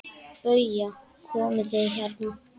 BAUJA: Komið þið hérna!